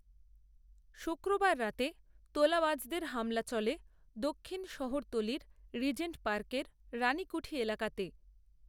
শুক্রবার রাতে তোলাবাজদের হামলা চলে দক্ষিণ শহরতলির রিজেন্ট পার্কের রানিকূঠি এলাকাতে